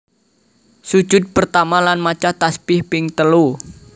Sujud pertama lan maca tasbih ping telu